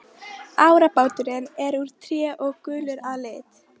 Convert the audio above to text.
Árabáturinn er úr tré og gulur að lit.